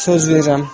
Söz verirəm.